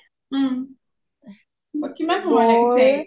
ওম , কিমান সময় লাগিছে?